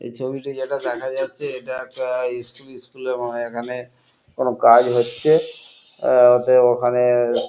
এ ছবিটি জেটা দেখা যাচ্ছে ইটা একটা ইস্কুল স্কুল -এর মনে হয় এখানে কোনো কাজ হচ্ছে এ ওতে ওখানে ।